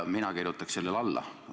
Mina kirjutaks sellele alla.